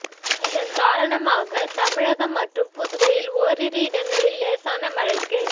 இதன் காரணமாக தமிழகம் மற்றும் புதுவையில் ஓரிரு இடங்களில் லேசான மழைக்கு